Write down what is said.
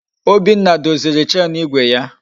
Obinna doziri Chenu igwe ya